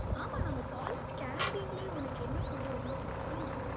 ஆமா, நம்ம college canteen லயே உனக்கு என்ன food ரொம்ப பிடிக்கும்?